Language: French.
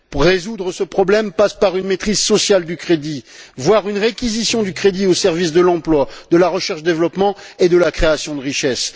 Résoudre ce problème passe par une maîtrise sociale du crédit, voire une réquisition du crédit au service de l'emploi, de la recherche et du développement, et de la création de richesse.